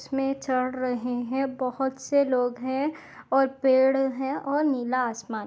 इसमे चड़ रहे है बहुत से लोग हे और पेड़ है और नीला आसमान--